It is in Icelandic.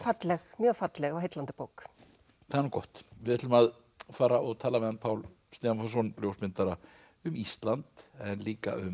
mjög falleg og heillandi bók það er nú gott við ætlum að fara og tala við hann Pál Stefánsson ljósmyndara um Ísland en líka um